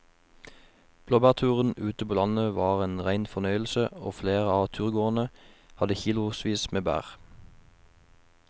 Blåbærturen ute på landet var en rein fornøyelse og flere av turgåerene hadde kilosvis med bær.